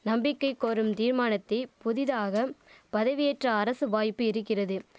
நம்பிக்கை கோரும் தீர்மானத்தை புதிதாகம் பதவியேற்ற அரசு வாய்ப்பு இரிக்கிறது